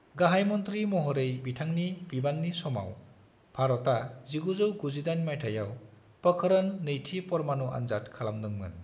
गाहायमंत्री महरै बिथांनि बिबान्नि समाव, भारता 1998 माइथायाव पोखरण-नैथि परमाणु आनजाद खालामदोंमोन।